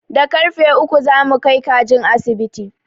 Da karrfe uku za mu kai kajin asibiti.